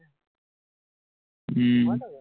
উম